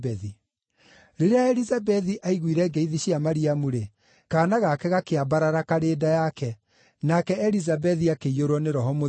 Rĩrĩa Elizabethi aiguire ngeithi cia Mariamu-rĩ, kaana gake gakĩambarara karĩ nda yake, nake Elizabethi akĩiyũrwo nĩ Roho Mũtheru.